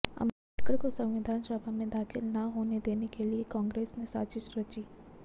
अम्बेदकर को संविधान सभा में दाखिल ना होने देने के लिए कांग्रेस ने साजिश रची